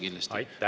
Aitäh!